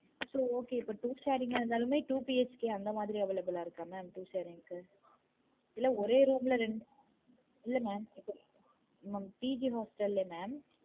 இப்ப okay இப்போ two sharing ஆ இருந்தாலுமே two BHK அந்த மாதிரி available ஆ இருக்கா mamtwo sharing க்கு? இல்ல ஒரே ஒரு room ல ரெண்டு இல்ல mam PG hostel ல mam